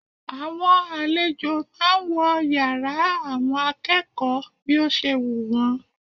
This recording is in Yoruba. Àwọn àlejò máà ń wọ yàrá àwọn akẹ́kọ̀ọ́ bí ó ṣe wù wọ́n.